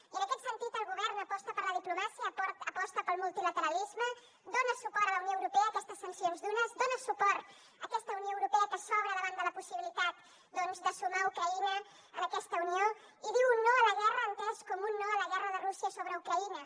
i en aquest sentit el govern aposta per la diplomàcia aposta pel multilateralisme dona suport a la unió europea a aquestes sancions dures dona suport a aquesta unió europea que s’obre davant de la possibilitat de sumar ucraïna a aquesta unió i diu un no a la guerra entès com un no a la guerra de rússia sobre ucraïna